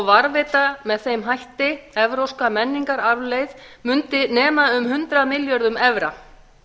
varðveita með þeim hætti evrópska menningararfleifð mundi nema um hundrað milljörðum evra